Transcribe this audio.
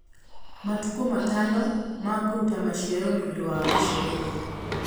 Matukũ matano ma kũruta maciaro nĩ ũndũ wa gũcererwo